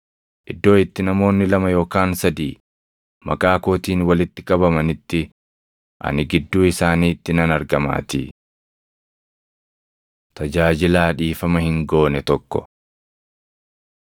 Iddoo itti namoonni lama yookaan sadii maqaa kootiin walitti qabamanitti ani gidduu isaaniitti nan argamaatii.” Tajaajilaa Dhiifama Hin Goone Tokko